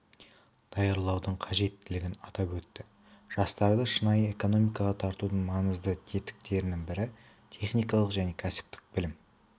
даярлаудың қажеттілігін атап өтті жастарды шынайы экономикаға тартудың маңызды тетіктерінің бірі техникалық және кәсіптік білім